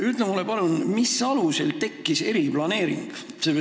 Palun ütle mulle, mis alusel tekkis eriplaneering?